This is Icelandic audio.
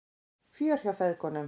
Fjör hjá feðgunum